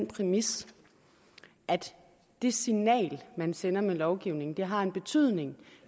præmis at det signal man sender med lovgivningen har en betydning